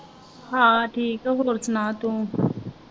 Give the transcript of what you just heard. ਹਾਂ ਠੀਕ ਹੋਰ ਸੁਣਾ ਤੂੰ